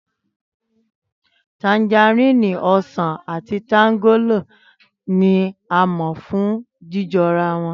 Tanjarínnì, ọsàn àti tanjálò ní a mò fún jíjorawon.